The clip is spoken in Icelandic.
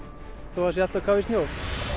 þó það sé allt á kafi í snjó